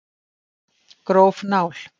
Gróf nál